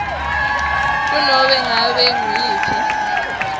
kunobe ngabe nguyiphi